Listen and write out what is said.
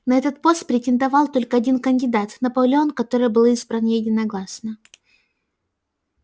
на этот пост претендовал только один кандидат наполеон который был избран единогласно